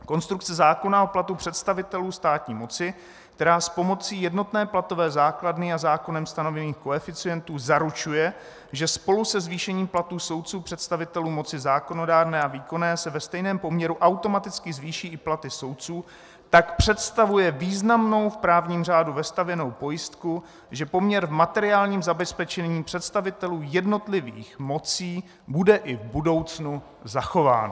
Konstrukce zákona o platu představitelů státní moci, která s pomocí jednotné platové základny a zákonem stanovených koeficientů zaručuje, že spolu se zvýšením platů soudců, představitelů moci zákonodárné a výkonné se ve stejném poměru automaticky zvýší i platy soudců, tak představuje významnou v právním řádu vestavěnou pojistku, že poměr v materiálním zabezpečení představitelů jednotlivých mocí bude i v budoucnu zachován.